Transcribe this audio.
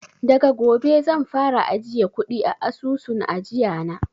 Daga gobe zan fara ajiye kuɗi a asusun ajiya na